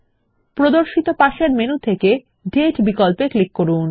প্রদর্শিত পাশের মেনু থেকে দাতে বিকল্পে ক্লিক করুন